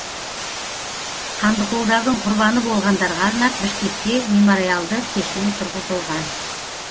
қандықолдардың құрбаны болғандарға арнап бішкекте мемориалды кешен тұрғызылған